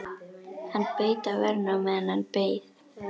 Hann beit á vörina á meðan hann beið.